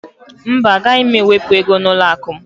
Mba, gaghị m ewepụ ego n'ụlọakụ m